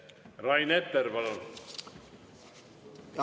Rain Epler, palun!